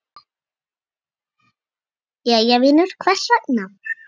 Jæja vinur, hvers vegna?